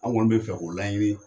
An kɔni bɛ fɛ k'o laɲini.